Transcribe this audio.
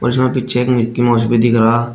थोड़ा पीछे Mickey Mouse भी दिख रहा--